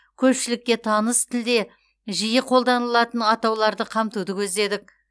көпшілікке таныс тілде жиі қолданылатын атауларды қамтуды көздедік